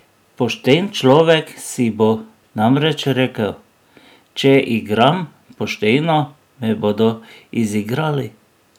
Pošten človek si bo namreč rekel: "Če igram pošteno, me bodo izigrali.